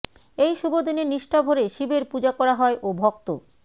এই শুভ দিনে নিষ্ঠাভরে শিবের পূজা করা হয় ও ভক্ত